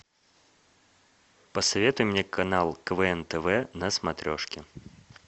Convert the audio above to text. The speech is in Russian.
посоветуй мне канал квн тв на смотрешке